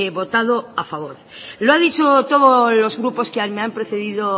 votado a favor lo ha dicho todos los grupos que me han precedido